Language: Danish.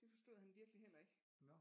Det forstod han virkelig heller ikke